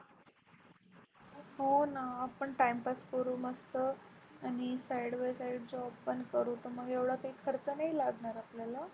हो ना आपण Timepass करू मस्त. आणि Side bySide job पण करू मग एवढा काही खर्च नाही लागणार आपल्याला.